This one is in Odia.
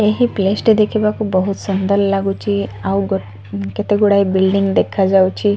ଏହି ପେଷ୍ଟ ଦେଖିବାକୁ ବୋହୁତ ସୁନ୍ଦର୍ ଲାଗୁଚି ଆଉ ଗୋ କେତେ ଗୁଡାଏ ବିଲଡିଙ୍ଗ ଦେଖାଯାଉଚି।